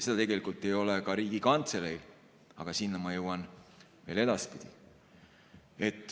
Seda ei ole ka Riigikantseleil, aga sinna ma jõuan veel edaspidi.